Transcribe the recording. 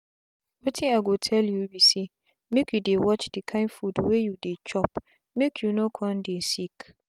wetin i go tell you be saymake you dey watch the kind food wey you dey chopmake you no con dey sick.